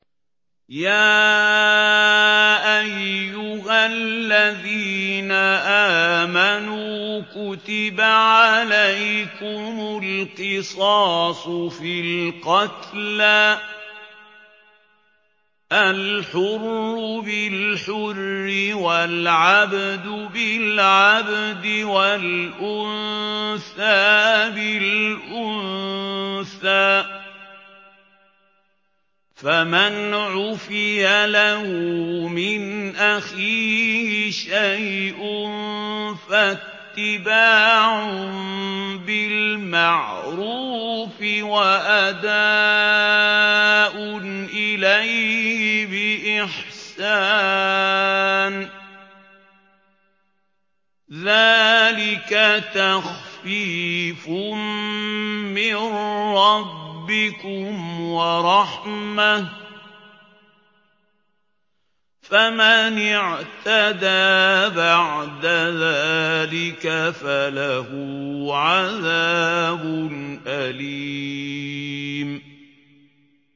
يَا أَيُّهَا الَّذِينَ آمَنُوا كُتِبَ عَلَيْكُمُ الْقِصَاصُ فِي الْقَتْلَى ۖ الْحُرُّ بِالْحُرِّ وَالْعَبْدُ بِالْعَبْدِ وَالْأُنثَىٰ بِالْأُنثَىٰ ۚ فَمَنْ عُفِيَ لَهُ مِنْ أَخِيهِ شَيْءٌ فَاتِّبَاعٌ بِالْمَعْرُوفِ وَأَدَاءٌ إِلَيْهِ بِإِحْسَانٍ ۗ ذَٰلِكَ تَخْفِيفٌ مِّن رَّبِّكُمْ وَرَحْمَةٌ ۗ فَمَنِ اعْتَدَىٰ بَعْدَ ذَٰلِكَ فَلَهُ عَذَابٌ أَلِيمٌ